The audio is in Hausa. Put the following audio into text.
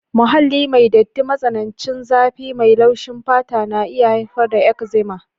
Muhalli mai datti, matsanancin zafi mai laushi fata na iya haifar da eczema